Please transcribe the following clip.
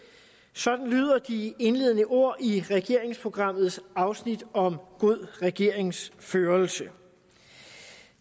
sådan lyder de indledende ord i regeringsprogrammets afsnit om god regeringsførelse